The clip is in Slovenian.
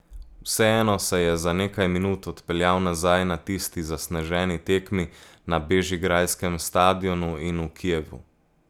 Vseeno se je za nekaj minut odpeljal nazaj na tisti zasneženi tekmi na bežigrajskem stadionu in v Kijevu.